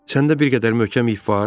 Səndə bir qədər möhkəm ip var?